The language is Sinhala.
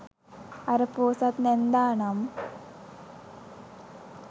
අර පෝසත් නැන්දා නම්